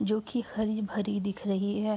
जोकि हरी-भरी दिख रही है।